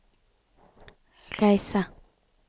reise